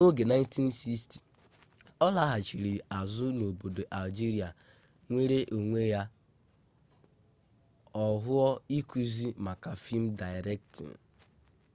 na oge 1960 olaghachiri azu n'obodo algeria nwere onwe ya ohuu ikuzi maka film directing